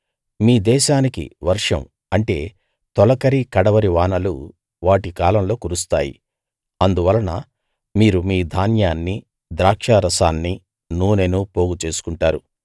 మీ దేశానికి వర్షం అంటే తొలకరి కడవరి వానలు వాటి కాలంలో కురుస్తాయి అందువలన మీరు మీ ధాన్యాన్నీ ద్రాక్షారసాన్నీ నూనెనూ పోగు చేసుకుంటారు